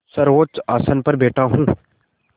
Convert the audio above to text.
सर्वोच्च आसन पर बैठा हूँ